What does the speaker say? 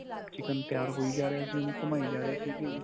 chicken ਤਿਆਰ ਹੋਈ ਜਾ ਰਿਹਾ ਸੀ ਉਹਨੂੰ ਘੁਮਾਈ ਜਾ ਰਹੇ ਸੀਗੇ.